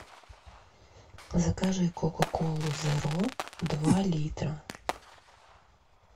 закажи кока колу зеро два литра